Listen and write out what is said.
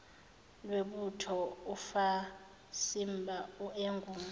lwebutho ufasimba engungwe